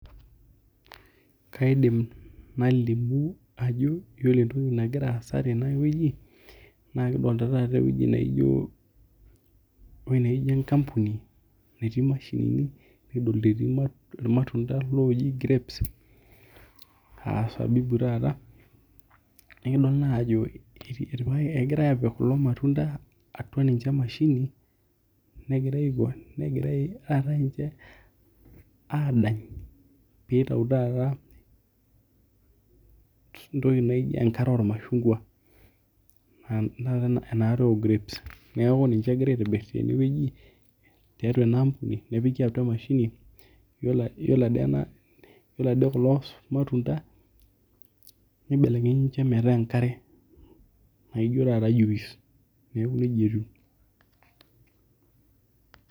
Kaidim nalimu ajo ore entoki nagira aasa tenewueji na kidolta taata ewueji naijo enkampuni natii mashinini nikidolt etii irmatunda oji grapes asabibu taata nikidol taajo egirai apik kulo matunda atua emashini negirai taata ninche adany pitau taata entoki naijo enkare ormashungwa, enaare ograpes neaku kegira aitobir tenewueji tiatua enkampuni negirai apik atua emashini yiolo ade kulo matunda nibelekenyi metaa ijo enkare naijo taata juice neaku nejia etiu.